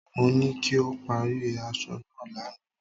Mo ní kí o parí aṣọ náà lánàá.